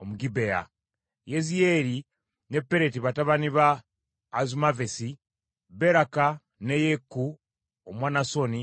Omugibeya; Yeziyeri ne Pereti batabani ba Azumavesi; Beraka, ne Yeeku Omwanasoni,